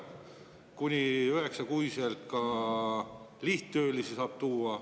Kuni üheksaks kuuks saab ka lihttöölisi tuua.